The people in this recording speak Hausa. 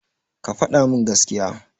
Ka faɗa min gaskiya.